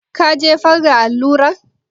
Ka jefar da allurar?